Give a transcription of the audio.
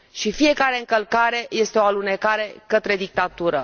Și fiecare încălcare este o alunecare către dictatură.